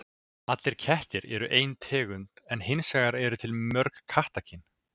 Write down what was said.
Allir kettir eru ein tegund en hins vegar eru til mörg kattakyn.